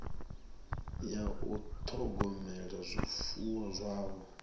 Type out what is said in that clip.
ya u ṱhogomela zwifuwo zwavho